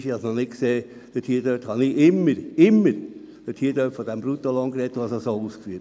Ich habe immer vom Bruttolohn gesprochen und das auch entsprechend ausgeführt.